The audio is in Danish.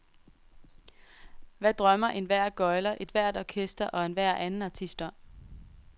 Hvad drømmer enhver gøgler, ethvert orkester og enhver anden artist om?